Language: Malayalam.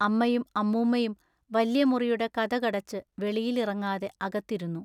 അമ്മയും അമ്മൂമ്മയും വല്യമുറിയുടെ കതകടച്ചു വെളിയിൽ ഇറങ്ങാതെ അകത്തിരുന്നു.